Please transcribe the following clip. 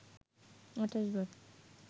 ২৮ বার